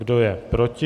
Kdo je proti?